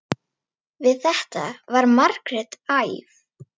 Við þetta varð Margrét æf.